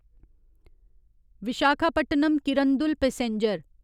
Visakhapatnam Kirandul passenger